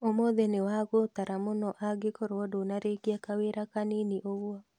Ũmũthĩ nĩwagũtara mũno angĩkorwo ndũnarĩkia kawĩra kanini ũguo